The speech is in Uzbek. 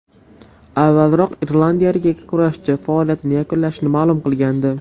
Avvalroq irlandiyalik yakkakurashchi faoliyatini yakunlashini ma’lum qilgandi .